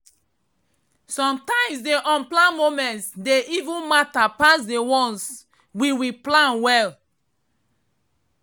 sometimes the unplanned moments dey even matter pass the ones we we plan well.